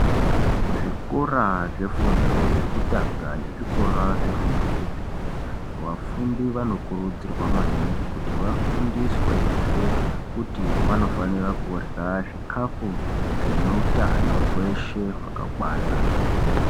Kuzvikora zvefundo yekutanga nezvikora zvefundo yechipiri vafundi vanokurudzirwa maningi kuti vafundiswezve kuti vanofanira kurya zvikafu zvine utano hweshe hwakakwana.